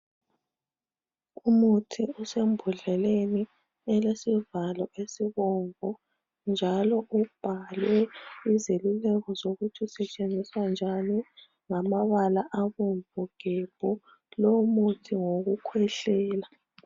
umuthi usembondleleni elesivalo esibomvu njalo ubhalwe izeluleko zokuthi usetshenziswa njani ngamabala abomvu gebhu lowu muthi ngowokukwehlela